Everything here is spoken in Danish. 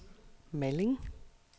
Malling